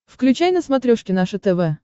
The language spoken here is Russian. включай на смотрешке наше тв